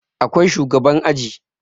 Akwai shugaban aji